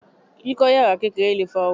Kíkọ́ yàrá kékeré lè fa ooru.